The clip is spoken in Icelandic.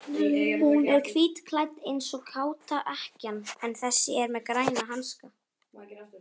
Hún er hvítklædd eins og káta ekkjan en þessi er með græna hanska.